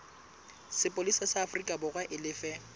sepolesa sa aforikaborwa e lefe